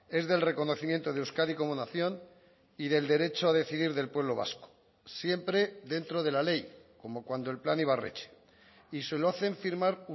es del reconocimiento de euskadi como nación y del derecho a decidir del pueblo vasco siempre dentro de la ley como cuando el plan ibarretxe y se lo hacen firmar